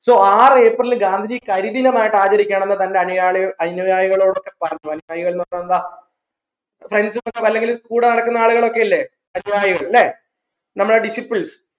so ആർ April ൽ ഗാന്ധിജി കരി ദിനമായിട്ട് ആചരിക്കാണ്ന്ന് തെന്നെ അണിയായി അനുയായികളോടൊക്കെ പറഞ്ഞു അനുയായികൾ പറഞ്ഞ എന്താ അല്ലെങ്കിൽ കൂടെ നടക്കുന്ന ആളുകളോക്കെ അല്ലെ അനുയായികൾ ല്ലേ നമ്മളെ disciple